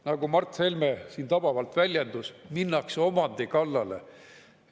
Nagu Mart Helme siin tabavalt väljendus: minnakse omandi kallale.